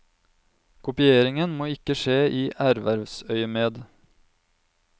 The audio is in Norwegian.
Kopieringen må ikke skje i ervervsøyemed.